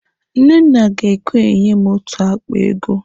Nnenna ga-ekwe enye m otu akpa ego.